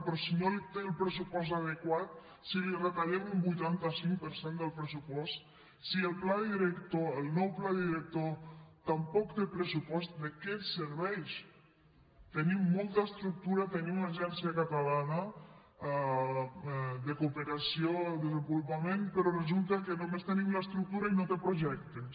però si no té el pressupost adequat si li retallem un vuitanta cinc per cent del pressupost si el pla director el nou pla director tampoc té pressupost de què ens serveix tenim molta estructura tenim l’agència catalana de cooperació al desenvolupament però resulta que només tenim l’estructura i no té projectes